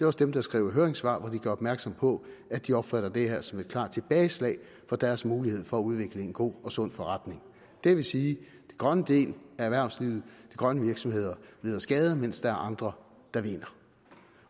også dem der skriver høringssvar hvor de gør opmærksom på at de opfatter det her som et klart tilbageslag for deres mulighed for at udvikle en god og sund forretning det vil sige at den grønne del af erhvervslivet de grønne virksomheder lider skade mens der er andre der vinder